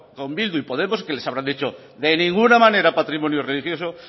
con bildu y podemos que les habrá dicho de ninguna manera patrimonio religioso